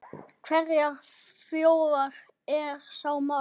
Hverrar þjóðar er sá maður?